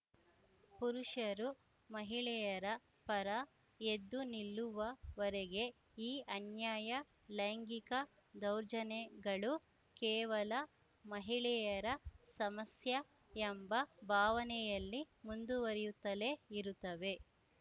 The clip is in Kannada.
ಪುರುಷರು ಮಹಿಳೆಯರ ಪರ ಎದ್ದುನಿಲ್ಲುವವರೆಗೆ ಈ ಅನ್ಯಾಯ ಲೈಂಗಿಕ ದೌರ್ಜನ್ಯಗಳು ಕೇವಲ ಮಹಿಳೆಯರ ಸಮಸ್ಯ ಎಂಬ ಭಾವನೆಯಲ್ಲಿ ಮುಂದುವರೆಯುತ್ತಲೇ ಇರುತ್ತವೆ